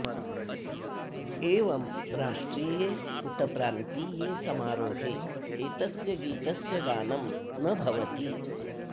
एवं राष्ट्रिये उत प्रान्तीये समारोहे एतस्य गीतस्य गानं न भवति